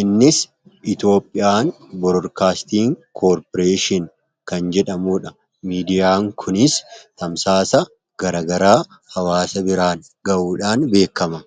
innis iitioopiyaan borokaastiin koorporeeshin kan jedhamuudha miidiyaa kunis tamsaasa garagaraa hawaasa biraan ga'uudhaan beekama